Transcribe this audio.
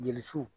Gerisiw